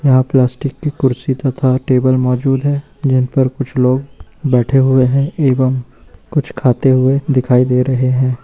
यहां प्लास्टिक की कुर्सी तथा टेबल मौजूद हैं जिन पर कुछ लोग बैठे हुए हैं एवं कुछ खाते हुए दिखाई दे रहे हैं।